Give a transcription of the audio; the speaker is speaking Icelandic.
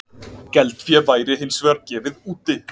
Geldfé væri hins vegar gefið úti